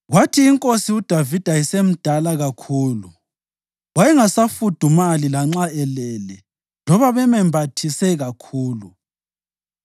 Kwathi inkosi uDavida esemdala kakhulu, wayengasafudumali lanxa elele loba bemembathise kakhulu.